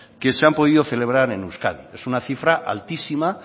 que se han podido celebrar en euskadi es una cifra altísima